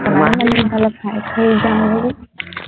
ইমান সোনকালে খাই কৈ